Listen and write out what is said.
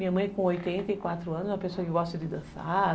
Minha mãe, com oitenta e quatro anos, é uma pessoa que gosta de dançar...